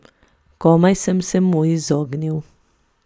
Komaj sem se mu izognil.